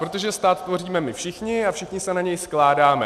Protože stát tvoříme my všichni a všichni se na něj skládáme.